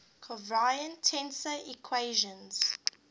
covariant tensor equations